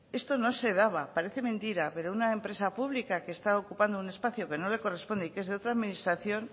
esto no se daba parece mentira pero una empresa pública que está ocupando un espacio que no le corresponde y que es de otra administración